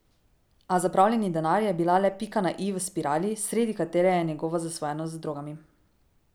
A zapravljeni denar je bil le pika na i v spirali, sredi katere je njegova zasvojenost z drogami.